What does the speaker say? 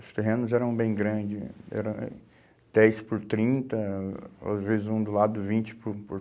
Os terrenos eram bem grandes, eram é dez por trinta, às vezes um do lado vinte por por